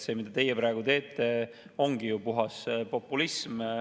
See, mida teie praegu teete, ongi ju puhas populism.